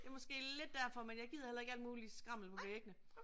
Det er måske lidt derfor men jeg gider heller ikke alt muligt skrammel på væggene